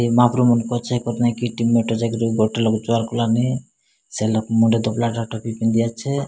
ଏ ମାହାପୁର ମୁଣ୍ଡ ପଛେ ସେ ଲୋକ ମୁଣ୍ଡେ ଧୋବଲା ଟାଟଲ ବି ପିନ୍ଧି ଅଛେ।